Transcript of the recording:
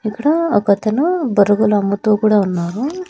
ఇక్కడ ఒక అతను బురుగులు అమ్ముతూ కూడా ఉన్నారు.